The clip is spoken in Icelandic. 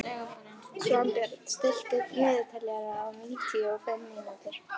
Svanbjörn, stilltu niðurteljara á níutíu og fimm mínútur.